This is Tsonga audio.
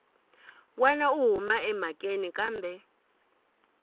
wana u huma emhakeni kambe